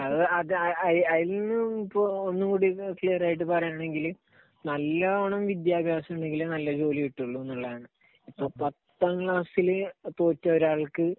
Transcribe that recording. അത്, അതിൽനിന്നും ഇപ്പോൾ ഒന്നുകൂടി ക്ലിയർ ആയിട്ട് പറയുകയാണെങ്കിൽ നല്ലോണം വിദ്യാഭ്യാസമുണ്ടെങ്കിലേ നല്ല ജോലി കിട്ടുകയുള്ളൂ എന്നതാണ്. ഇപ്പൊ പത്താം ക്ലാസ്സിൽ തോറ്റ ഒരാൾക്ക്